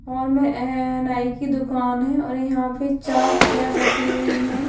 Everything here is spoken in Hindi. हॉल में ए नाइ की दुकान है और यहाँ पे चार चेयर रखी हुई है।